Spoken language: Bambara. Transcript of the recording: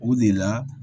O de la